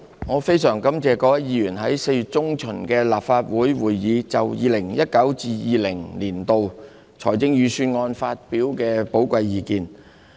我非常感謝各位議員在4月中旬的立法會會議，就 2019-2020 年度財政預算案發表的寶貴意見。